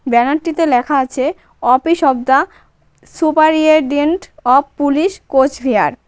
Banner টিতে লেখা আছে office of the superintendent of police Cooch Behar.